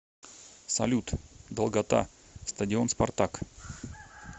салют долгота стадион спартак